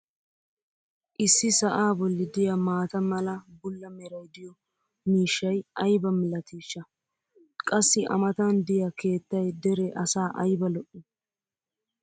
issi sa"aa boli diya maata mala bula meray diyo miishshay ayba malatiishsha! qassi a matan diyaa keettay dere asaa ayba lo'ii!